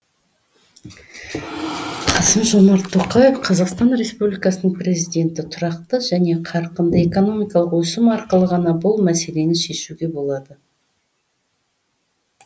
қасым жомарт тоқаев қазақстан республикасының президенті тұрақты және қарқынды экономикалық өсім арқылы ғана бұл мәселені шешуге болады